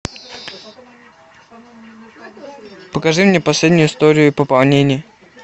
покажи мне последнюю историю пополнений